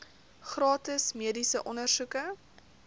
gratis mediese ondersoeke